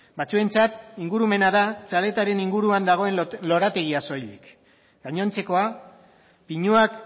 batzuentzat ingurumena da txaletaren inguruan dagoen lorategia soilik gainontzekoa pinuak